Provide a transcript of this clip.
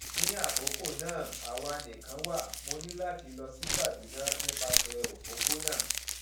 ní àkókò náà àwa nìkan wà mo ní láti lọ sí kaduna nípasẹ òpópónà